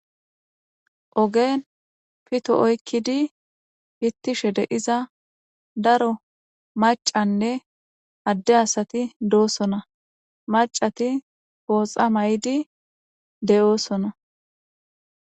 ogen pito oykkidi pittishe de iza daro macanne adde asati doosona macati gooxa may7idi de7oosona